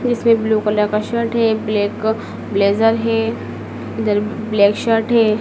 इसमें blue colour का shirt है ब्लैक ब्लेजर है ब्लैक शर्ट हैं।